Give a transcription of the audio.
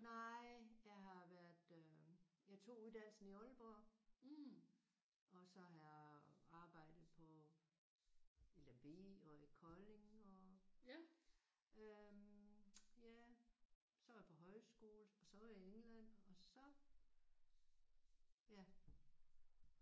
Nej jeg har været øh jeg tog uddannelsen i Aalborg og så har jeg arbejdet på i Lemvig og i Kolding og øh ja så var jeg på højskole og så var jeg i England og så ja